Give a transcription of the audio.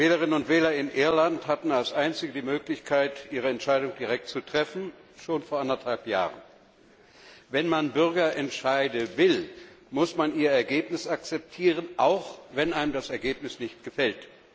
Die Wählerinnen und Wähler in Irland hatten als einzige die Möglichkeit, ihre Entscheidung schon vor anderthalb Jahren direkt zu treffen. Wenn man Bürgerentscheide will, muss man ihr Ergebnis akzeptieren, auch wenn einem das Ergebnis nicht gefällt.